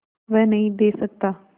वह नदीं दे सकता